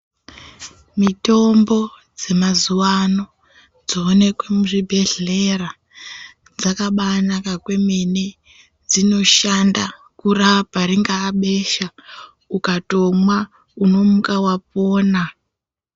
Mitombo dzemazuwa ano dzoonekwe muzvibhehlera dzakabaanaka kwemene. Dzinoshanda kurapa ringaa besha, ukatomwa unomuka wapona.